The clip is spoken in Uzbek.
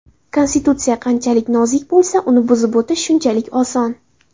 Konstitutsiya qanchalik nozik bo‘lsa, uni buzib o‘tish shunchalik oson.